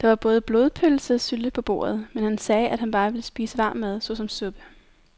Der var både blodpølse og sylte på bordet, men han sagde, at han bare ville spise varm mad såsom suppe.